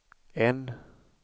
N